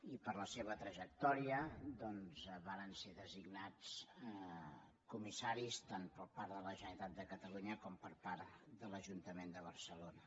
i per la seva trajectòria doncs varen ser designats comissaris tant per part de la generalitat de catalunya com per part de l’ajuntament de barcelona